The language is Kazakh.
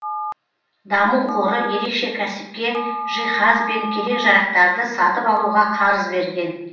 даму қоры ерекше кәсіпке жиһаз бен керек жарақтарды сатып алуға қарыз берген